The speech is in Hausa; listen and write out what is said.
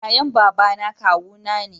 yayan babana kawu na ne